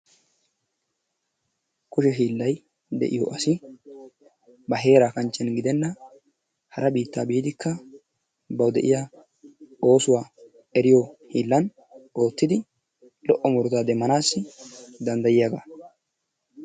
Kushe hiillay de'iyo asi ba heeraa kanchchen gidenan hara biittaa biidikka bawu de'iyaa oosuwaa eriyo hiillan oottidi lo''o murutaa demmanassi danddayiyaga